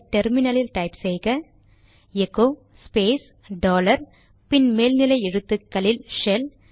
terminally ல் type செய்க echo space dollar பின் மேல் நிலை எழுத்துக்களில் ஷெல்